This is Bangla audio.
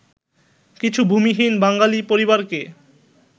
কিছু ভূমিহীন বাঙালি পরিবারকে